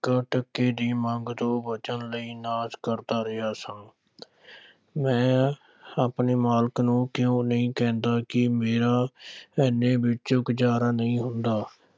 ਇਕ ਟੱਕੇ ਦੀ ਮੰਗ ਤੋਂ ਬਚਣ ਲਈ ਨਾਸ ਕਰਦਾ ਰਿਹਾ ਸਾਂ ਮੈਂ ਆਪਣੇ ਮਾਲਕ ਨੂੰ ਕਿਉਂ ਨਹੀਂ ਕਹਿੰਦਾ ਕਿ ਮੇਰਾ ਇੰਨੇ ਵਿਚ ਗੁਜ਼ਾਰਾ ਨਹੀਂ ਹੁੰਦਾ।